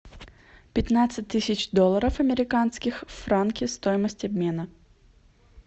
пятнадцать тысяч долларов американских в франки стоимость обмена